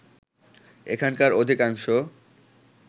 এখানকার অধিকাংশ